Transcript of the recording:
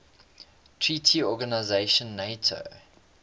treaty organization nato